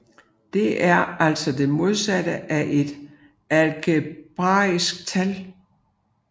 Det er altså det modsatte af et algebraisk tal